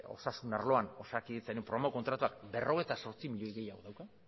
osasun arloan osakidetzaren programa kontratuak berrogeita zortzi milioi gehiago dauka